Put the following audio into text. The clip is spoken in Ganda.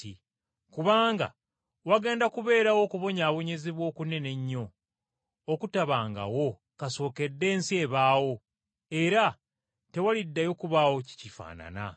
Kubanga wagenda kubeerawo okubonyaabonyezebwa okunene ennyo okutabangawo kasookedde ensi ebaawo era tewaliddayo kubaawo kikifaanana.